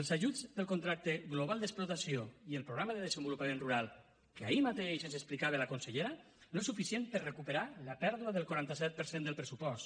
els ajuts pel contracte global d’explotació i el programa de desenvolupament rural que ahir mateix ens explicava la consellera no són suficients per recuperar la pèrdua del quaranta set per cent del pressupost